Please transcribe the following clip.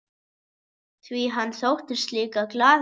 Því hann þóttist líka glaður.